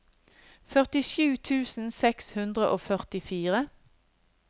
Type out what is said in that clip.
førtisju tusen seks hundre og førtifire